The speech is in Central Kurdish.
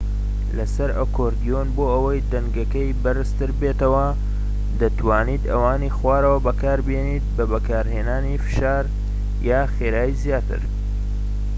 لەسەر ئەکۆردیۆن بۆ ئەوەی دەنگەکەی بەرزتر بێتەوە دەتوانیت ئەوانی خوارەوە بەکاربێنیت بە بەکارهێنانی فشار یان خێرایی زیاتر